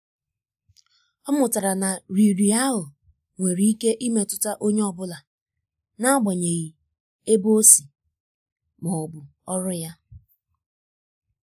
ọ mụtara na riri ahụ nwere ike imetụta onye ọ bụla n’agbanyeghị ebe o si ma ọ bụ ọrụ ya.